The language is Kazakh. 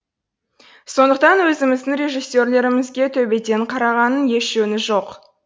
сондықтан өзіміздің режиссерлерімізге төбеден қарағанның еш жөні жоқ